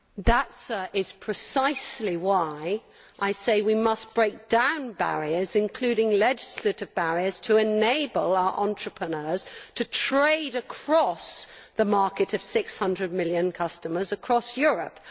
That, sir, is precisely why I say we must break down barriers including legislative barriers to enable our entrepreneurs to trade across the market of 600 million customers across Europe.